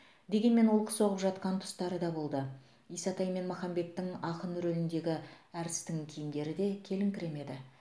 дегенмен олқы соғып жатқан тұстары да болды исатай мен махамбеттің ақын рөліндегі әртістің киімдері де келіңкіремеді